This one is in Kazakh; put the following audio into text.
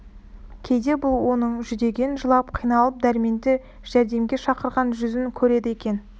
кейде бұл оның жүдеген жылап қиналып дәрменді жәрдемге шақырған жүзін көреді екен